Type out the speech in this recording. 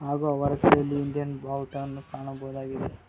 ಹಾಗೂ ಅವರ ಕೈಯಲಿ ಇಂಡಿಯನ್ ಬಾವುಟ ಕಾಣಬಹುದಾಗಿದೆ.